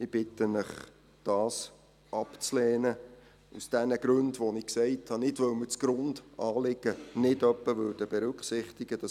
Ich bitte Sie, diesen aus den genannten Gründen abzulehnen und nicht deshalb, weil wir das Grundanliegen nicht etwa berücksichtigen würden.